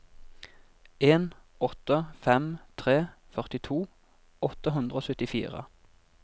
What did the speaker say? en åtte fem tre førtito åtte hundre og syttifire